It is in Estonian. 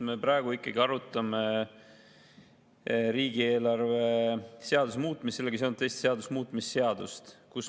Me praegu ikkagi arutame riigieelarve seaduse muutmise ja sellega seonduvalt teiste seaduste muutmise seadust.